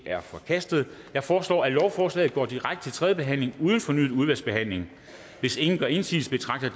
er forkastet jeg foreslår at lovforslaget går direkte til tredje behandling uden fornyet udvalgsbehandling hvis ingen gør indsigelse betragter